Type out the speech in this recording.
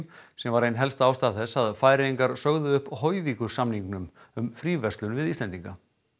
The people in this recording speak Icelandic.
sem var ein helsta ástæða þess að Færeyingar sögðu upp Hoyvíkursamningnum um fríverslun við Íslendinga